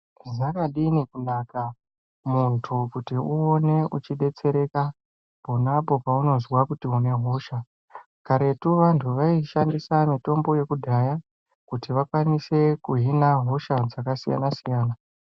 Zvakadini kunaka mundu kuti uwone uchidetsereka ponapo paunozwa kuti unehosha karetu vantu vaishandisa mitombo yekudhaya kuti vakwanise kuhin'a hosha dzakasiyana siyana